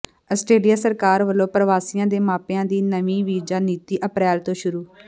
Australia ਸਰਕਾਰ ਵਲੋਂ ਪ੍ਰਵਾਸੀਆਂ ਦੇ ਮਾਪਿਆਂ ਦੀ ਨਵੀਂ ਵੀਜ਼ਾ ਨੀਤੀ ਅਪ੍ਰੈਲ ਤੋਂ ਸ਼ੁਰੂ